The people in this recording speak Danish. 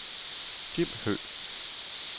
Jim Høgh